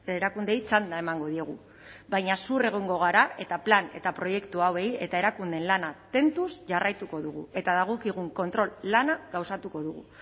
erakundeei txanda emango diogu baina zuhur egongo gara eta plan eta proiektu hauei eta erakundeen lana tentuz jarraituko dugu eta dagokigun kontrol lana gauzatuko dugu